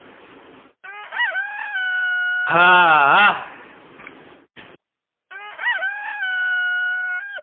હા આહ